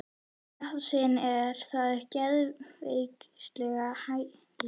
Í þetta sinn er það geðveikrahælið.